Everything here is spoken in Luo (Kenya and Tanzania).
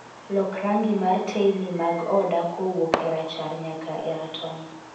Lok rangi mar teyni mag oda kowuok erachar nyaka eratong